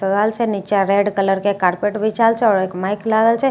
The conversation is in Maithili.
तगाड़ छे निचा रेड कलर के कार्पेट बिछाओल छे आओर एक माइक लागल छे।